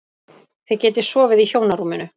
Þið getið sofið í hjónarúminu.